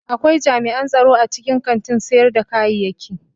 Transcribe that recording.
Akwai jami'an tsaro a cikin kantin sayar da kayaki.